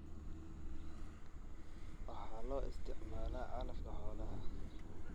Waxa loo isticmaalaa calafka xoolaha.